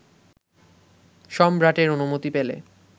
সম্রাটের অনুমতি পেলে